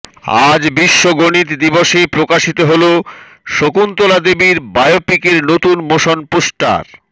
আজ বিশ্ব গণিত দিবসে প্রকাশিত হল শকুন্তলা দেবীর বায়োপিকের নতুন মোশন পোস্টার